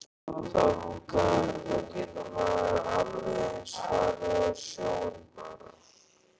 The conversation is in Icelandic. Þá getur maður alveg eins farið á sjóinn bara.